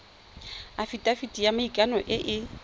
afitafiti ya maikano e e